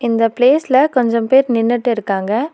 இந்த பிளேஸ்ல கொஞ்சம் பேரு நின்னுட்டு இருக்காங்க.